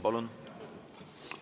Palun!